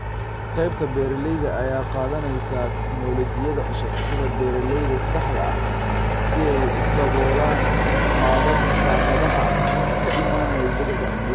Qaybta beeralayda ayaa qaadanaysa tignoolajiyada cusub, sida beeralayda saxda ah, si ay u daboolaan caqabadaha ka imanaya isbeddelka cimilada.